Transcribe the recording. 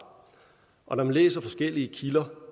og når man læser forskellige kilder